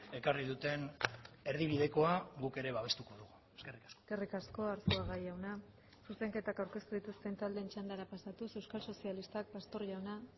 ekarri duten erdibidekoa guk ere babestuko dugu eskerrik asko eskerrik asko arzuaga jauna zuzenketak aurkeztu dituzten taldeen txandara pasatuz euskal sozialistak pastor jauna